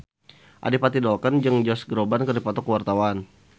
Adipati Dolken jeung Josh Groban keur dipoto ku wartawan